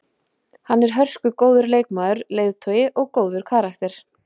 Hann er hörkugóður leikmaður, leiðtogi og góður karakter.